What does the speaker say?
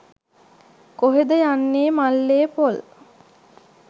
කොහෙද යන්නේ මල්ලේ පොල්.